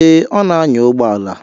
Eh, ọ na-anya ụgbọala.